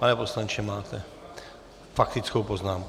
Pane poslanče, máte faktickou poznámku.